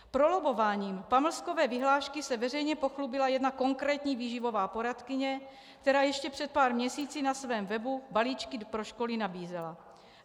Prolobbováním pamlskové vyhlášky se veřejně pochlubila jedna konkrétní výživová poradkyně, která ještě před pár měsíci na svém webu balíčky pro školy nabízela.